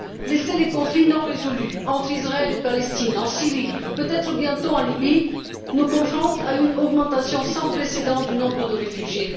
Laisser les conflits irrésolus entre Israël et Palestine, en Syrie, peut être bientôt en Libye conduit à une augmentation sans précédent du nombre de réfugiés.